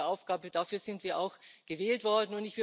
Das ist unsere Aufgabe, dafür sind wir auch gewählt worden.